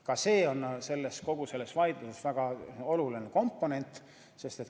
Ka see on kogu selles vaidluses väga oluline aspekt ...